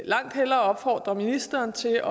langt hellere opfordre ministeren til